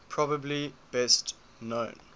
probably best known